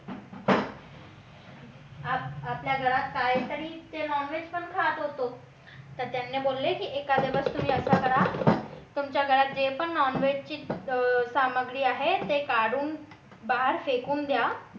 आपल्या घरात काय तरी ते non veg खात होतो तर त्याने बोलले की एका दिवस तुम्ही असं करा तुमच्या घरात जे पण non veg ची सामग्री आहे ते काढून बाहेर फेकून द्या